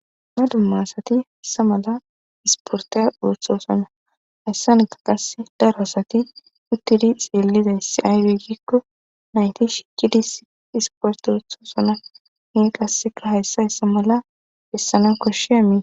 Dumma dumma asati issi mala isportaya ooththosona. Hayssanaka qasse daro asati uttidi xeellida issi ayibbe gikko nayti shikkidi isporte oothoosona. Qassika hayssa hayssa mala bessananwu koshshiyaba.